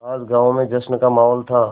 आज गाँव में जश्न का माहौल था